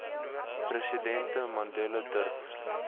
president mandela durf